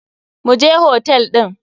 Mu je hotel ɗin.